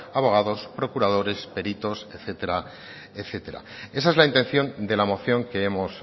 abogados procuradores peritos etcétera etcétera esa es la intención de la moción que hemos